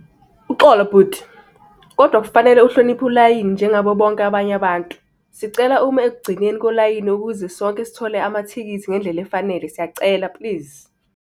Uxolo bhuti, kodwa kufanele uhloniphe ulayini njengabo bonke abanye abantu. Sicela ume ekugcineni kolayini ukuze sonke sithole amathikithi ngendlela efanele, siyacela please.